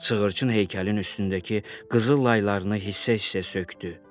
Sığırçın heykəlin üstündəki qızıl laylarını hissə-hissə sökdü.